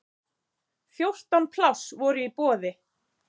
Fjórtán pláss voru í boði.